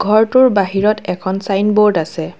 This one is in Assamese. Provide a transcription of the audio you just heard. ঘৰটোৰ বাহিৰত এখন ছাইনব'ৰ্ড আছে।